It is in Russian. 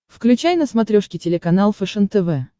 включай на смотрешке телеканал фэшен тв